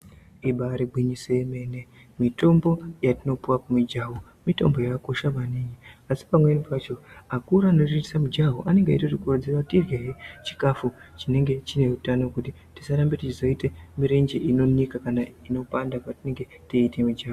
Ibaari gwinyiso remene mitombo yatinopiwe kumijaho mitombo yakakosha maningi asi pamwenipacho akuru anotiitise mujaho anenge eitotikurudzira kuti tiryehe chikafu chinenge chine utano kuti tizazorambe teiite mirenje inonika kana inopanda patinenge teita mijaho.